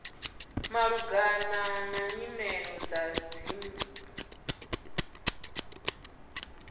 malugana na nyimele dza dzipmb